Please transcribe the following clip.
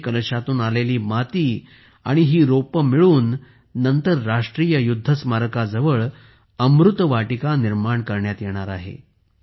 7500 कलशातून आलेली माती आणि ही रोपे मिळून नंतर राष्ट्रीय युद्ध स्मारकाजवळ अमृत वाटिका निर्माण करण्यात येणार आहे